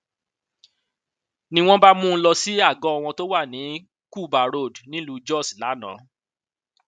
ni wọn bá mú un lọ sí àgọ wọn tó wà ní kuba road nílùú jos lánàá